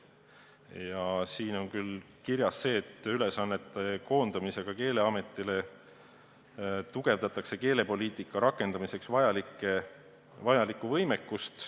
Ja siin on küll kirjas, et ülesannete koondamisega Keeleametisse tugevdatakse keelepoliitika rakendamiseks vajalikku võimekust.